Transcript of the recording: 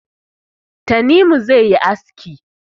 Tanimu zai yi aski